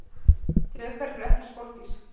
drekar eru ekki skordýr